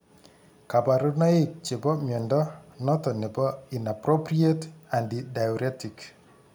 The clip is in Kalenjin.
Kabarunaik chebo mnyondo noton nebo inappropriate antidiuretic